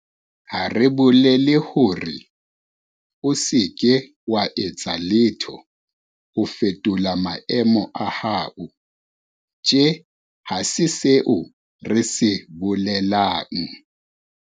Ha re bolele hore o se ke wa etsa letho ho fetola maemo a hao. Tjhe, ha se seo re se bolelang.